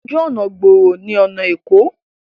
Ojú ọnà gbòòrò ni ọna Eko.